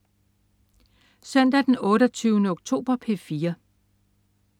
Søndag den 28. oktober - P4: